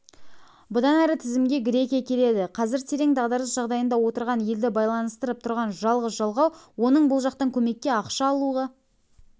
бұдан әрі тізімге грекия келеді қазір терең дағдарыс жағдайында отырған елді байланыстырып тұрған жалғыз жалғау оның бұл жақтан көмекке ақша алуға